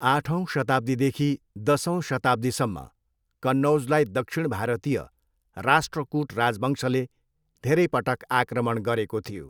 आठौँ शताब्दीदेखि दसौँ शताब्दीसम्म कन्नौजलाई दक्षिण भारतीय राष्ट्रकुट राजवंशले धेरैपटक आक्रमण गरेको थियो।